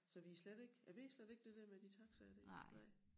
Så vi slet ikke jeg ved slet ikke det der med de taxaer dér nej